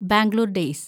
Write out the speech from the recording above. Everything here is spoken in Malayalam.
ബാംഗ്ലൂര്‍ ഡേയ്സ്